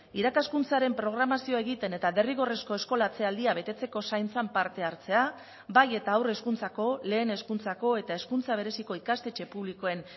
irakaskuntzaren programazioa egiten eta derrigorrezko eskolatze aldia betetzeko zaintzan parte hartzea bai eta haur hezkuntzako lehen hezkuntzako eta hezkuntza bereziko ikastetxe publikoen